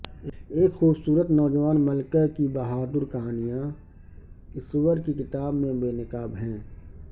ایک خوبصورت نوجوان ملکہ کی بہادر کہانیاں اسور کی کتاب میں بے نقاب ہیں